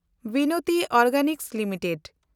Binati organics limited